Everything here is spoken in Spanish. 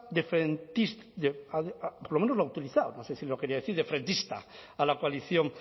de frentistas por lo menos lo ha utilizado no sé si lo quería decir de frentista a la